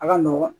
A ka nɔgɔn